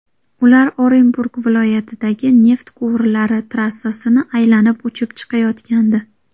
Ular Orenburg viloyatidagi neft quvurlari trassasini aylanib uchib chiqayotgandi.